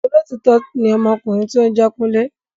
Olótítọ́ ni ọmọkùnrin tí óún jé Kunle